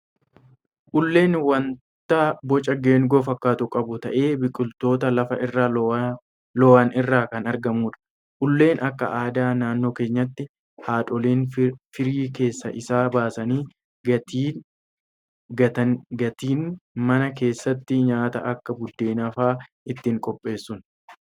uleen waanta boca geengoo fakkaatu qabu ta'ee biqiloota lafa irra lo'an irraa kan argamudha. Ulleen akka aadaa naannoo keenyaatti haadholiin firii keessa isaa baasanii gatiin, mana keessatti nyaata akka buddeenaa fa'aa ittiin qopheessuun.